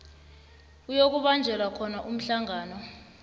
kuyokubanjelwa khona umhlangano